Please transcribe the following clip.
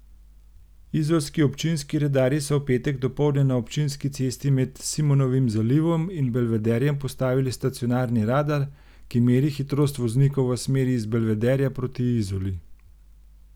Izolski občinski redarji so v petek dopoldne na občinski cesti med Simonovim zalivom in Belvederjem postavili stacionarni radar, ki meri hitrost voznikov v smeri iz Belvederja proti Izoli.